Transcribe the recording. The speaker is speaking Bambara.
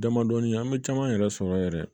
Damadɔnin an bɛ caman yɛrɛ sɔrɔ yɛrɛ